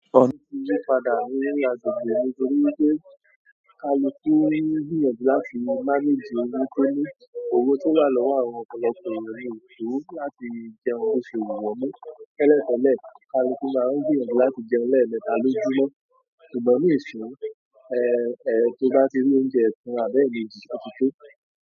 Òfin ti yí padà ní agbègbè mi torí wípé kálukú tún ní ìyànjú láti manage ojú tó ní. Òwe tó wà lọ́wọ́ àwọn ọ̀pọ̀lọpọ̀ ènìyàn ní ètò láti jẹun lóṣù ìwọ̀lẹ́. Tẹ́lẹ̀ tẹ́lẹ̀ kálukú máa ń gbìyànjú láti jẹun lẹ́ẹ̀mẹta lójúmọ́. Ṣùgbọ́n nísinyìí, to bá ti rí oúnjẹ tán àbẹ́ yín yóò ti tó.